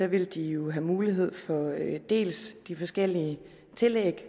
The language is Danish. vil de jo have mulighed for dels de forskellige tillæg